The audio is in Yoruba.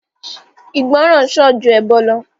Ìgbọ̀ràn sàn ju ẹbọ̀ lọ